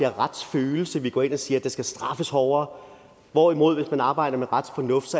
retsfølelse når vi går ind og siger at der skal straffes hårdere hvorimod vi arbejder med retsfornuft